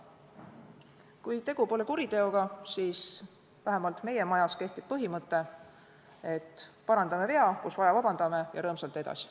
Kui tegu pole kuriteoga, siis vähemalt meie majas kehtib põhimõte, et parandame vea, kus vaja, vabandame, ja rõõmsalt edasi.